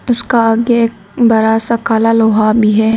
उसका आगे एक बड़ा सा काला लोहा भी है।